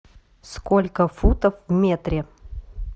сколько футов в метре